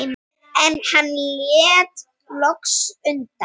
En hann lét loks undan.